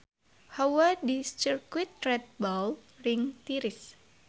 Hawa di Sirkuit Red Bull Ring tiris